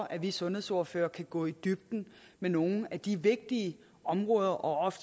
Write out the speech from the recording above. at vi sundhedsordførere kan gå i dybden med nogle af de vigtige områder og